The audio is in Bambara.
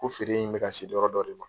Ko feere in bɛ ka se dɔgɔ dɔ de ma.